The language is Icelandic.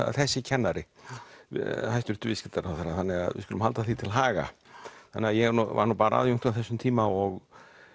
þessi kennari viðskiptaráðherra þannig að við skulum halda því til haga þannig ég var nú bara aðjúnkt á þessum tíma og